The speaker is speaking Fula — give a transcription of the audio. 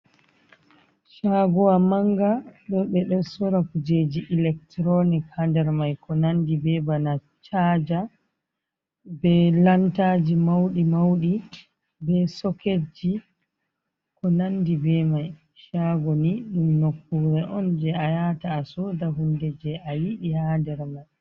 Shagowa manga, ɓo ɓe ɗo sora kujeji ilekturonik ha nɗer mai, ko nanɗi ɓe ɓana chaja, ɓe lantaji mauɗi mauɗi, ɓe soketji ko nanɗi ɓe mai. Shago ni ɗum nokkure on je a yata asoɗa hunɗe je a yiɗi ha nɗer mai.